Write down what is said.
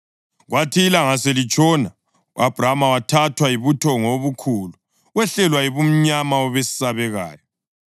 Kwathi ilanga selitshona, u-Abhrama wathathwa yibuthongo obukhulu, wehlelwa yibumnyama obesabekayo.